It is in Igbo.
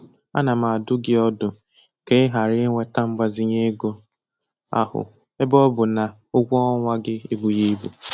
Ana m adụ gị ọdụ ka ị ghara iweta mgbazinye ego ahụ ebe ọ bụ na ụgwọ ọnwa gị ebughị ibu.